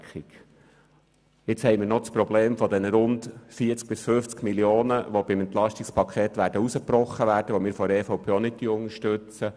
Nun haben wir noch das Problem mit den rund 40 bis 50 Mio. Franken, die beim EP herausgebrochen werden, was die EVP-Fraktion auch nicht unterstützt.